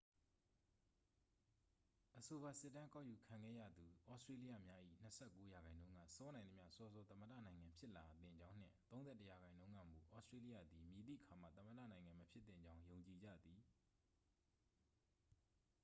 အဆိုပါစစ်တမ်းကောက်ယူခံခဲ့ရသူ ဩစတေးလျများ၏ 29 ရာခိုင်နှုန်းက စောနိုင်သမျှ စောစော သမ္မတနိုင်ငံဖြစ်လာသင့်ကြောင်းနှင့် 31 ရာခိုင်နှုန်းကမူ ဩစတေးလျသည် မည်သည့်အခါမှ သမ္မတနိုင်ငံမဖြစ်သင့်ကြောင်း ယုံကြည်ကြသည်